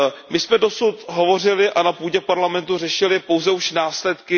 My jsme dosud hovořili a na půdě Parlamentu řešili pouze už následky.